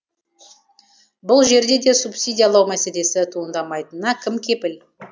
бұл жерде де субсидиялау мәселесі туындамайтынына кім кепіл